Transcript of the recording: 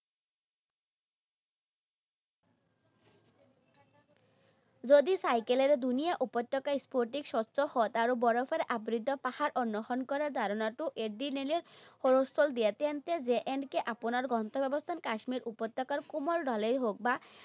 যদি চাইকেলেৰে ধুনীয়া উপত্যকা, স্ফটিক স্বচ্ছ হ্ৰদ আৰু বৰফেৰে আবৃত পাহাৰ অন্নেষণ কৰা ধাৰণাটো এদিনলে হ'লেও স্থল দিয়া, তেন্তে J and K আপোনাৰ গন্তব্যস্থান কাশ্মীৰ উপত্যকাৰ কোমল ঢালেই হওঁক বা